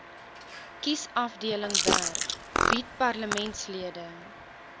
kiesafdelingwerk bied parlementslede